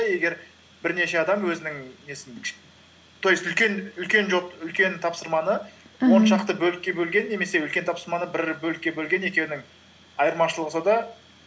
егер бірнеше адам өзінің несін то есть үлкен джоб үлкен тапсырманы іхі он шақты бөлікке бөлген немесе үлкен тапсырманы бір бөлікке бөлген екеуінің айырмашылығы сонда